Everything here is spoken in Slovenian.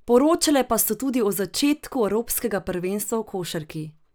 Poročale pa so tudi o začetku evropskega prvenstva v košarki.